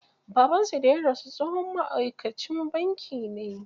Babansu da ya rasu tsohon ma'aikacin banki ne.